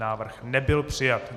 Návrh nebyl přijat.